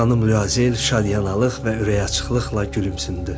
Xanım Luazel şadyanlıq və ürəyi açıqlıqla gülümsündü.